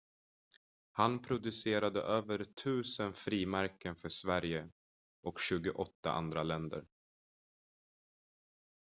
han producerade över 1000 frimärken för sverige och 28 andra länder